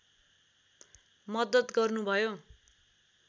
मद्दत गर्नुभयो